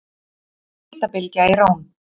Hitabylgja í Róm